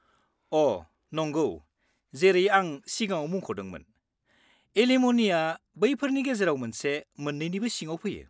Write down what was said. -अ', नंगौ, जेरै आं सिगाङाव मुंख'दोंमोन, एलिम'ननिआ बैफोरनि गेजेराव मोनसे मोन्नैनिबो सिङाव फैयो।